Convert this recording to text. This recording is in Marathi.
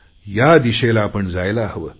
या दिशेला आपण जायला हवे